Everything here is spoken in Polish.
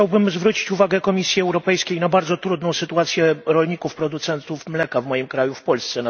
Chciałbym zwrócić uwagę Komisji Europejskiej na bardzo trudną sytuację rolników producentów mleka w moim kraju, w Polsce.